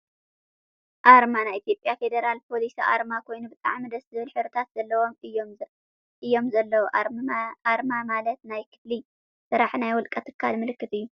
ኣርማ ፦ ናይ ኢትዮጰያ ፌድራል ፖሊስ ኣርማ ኮይኑ ብጣዕሚ ደስ ዝብል ሕብሪታት ዘለዎም እዮም ዘለው። ኣርማ ማለት ናይ ክፍሊ ስራሕ ናይ ወልቀ ትካል፣ ምልክት እዩ።